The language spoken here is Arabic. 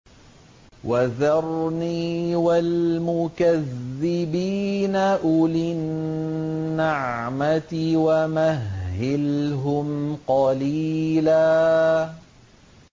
وَذَرْنِي وَالْمُكَذِّبِينَ أُولِي النَّعْمَةِ وَمَهِّلْهُمْ قَلِيلًا